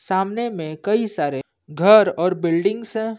सामने में कई सारे घर और बिल्डिंगस--